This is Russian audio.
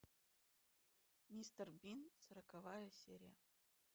мистер бин сороковая серия